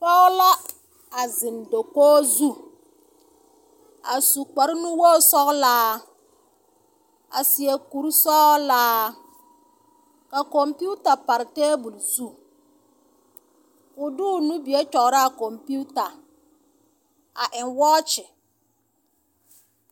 Pͻge la a zeŋe dakogi zu. A su kpare nuwogi sͻgelaa, a seԑ kuri sͻgelaa. Ka kͻmpiita pare teebole zu. Ko o de o nubie kyͻgerͻ a kͻmpiita. A eŋ wͻͻkye.